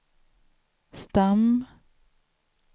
stam